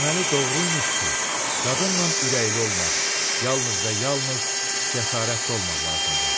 Deməli doğru imiş ki, qadınla ürəkli olmaq, yalnız və yalnız cəsarətli olmaq lazımdır.